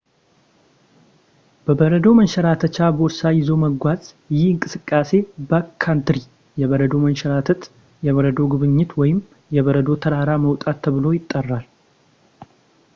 በበረዶ መንሸራተቻ ቦርሳ ይዞ መጓዝ ይህ እንቅስቃሴ ባክካንትሪ የበረዶ መንሸራተት የበረዶ ጉብኝት ወይም የበረዶ ተራራ መውጣት ተብሎ ይጠራል